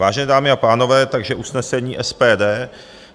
Vážené dámy a pánové, takže usnesení SPD: